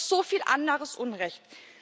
Und da gibt es noch so viel anderes Unrecht.